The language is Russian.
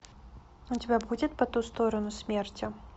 у тебя будет по ту сторону смерти